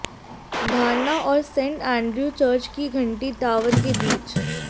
धारणा और saint Andrew church की घंटी टॉवर के बीच